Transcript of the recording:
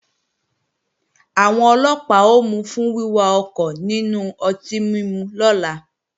Àwọn Ọlọ́pàá ó mú u fún wíwà ọkọ̀ nínú ọtí mímu lọ́la